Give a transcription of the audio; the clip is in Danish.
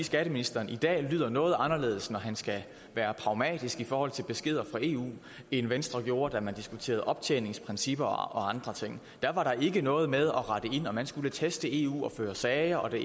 skatteministeren i dag lyder noget anderledes når han skal være pragmatisk i forhold til beskeder fra eu end venstre gjorde da vi diskuterede optjeningsprincipper og andre ting da var der ikke noget med at rette ind og man skulle teste eu og føre sager og det